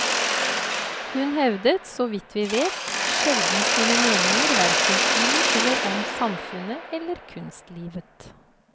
Hun hevdet, så vidt vi vet, sjelden sine meninger hverken i eller om samfunnet eller kunstlivet.